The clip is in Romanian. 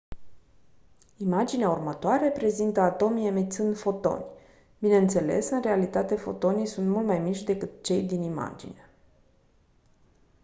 imaginea următoare prezintă atomii emițând fotoni bineînțeles în realitate fotonii sunt mult mai mici decât cei din imagine